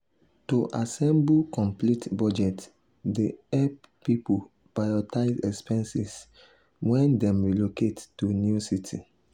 to assemble complete budget dey hep pipul prioritize expenses wen dem relocate to new city.